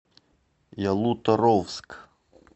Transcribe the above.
ялуторовск